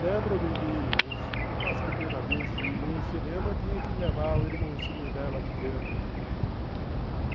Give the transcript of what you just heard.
Lembro-me de... das primeiras vezes de ir no cinema, tinha que levar o irmãozinho dela pequeno.